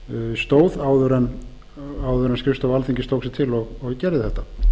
stóð áður en skrifstofa alþingis tók sig til og gerði þetta